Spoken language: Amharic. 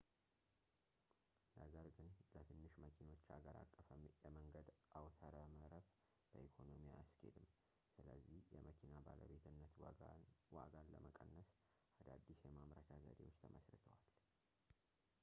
ነገር ግን ለትንሽ መኪኖች ሀገር አቀፍ የመንገድ አውታረመረብ በኢኮኖሚ አያስኬድም ስለዚህ የመኪና ባለቤትነት ዋጋን ለመቀነስ አዳዲስ የማምረቻ ዘዴዎች ተመሥርተዋል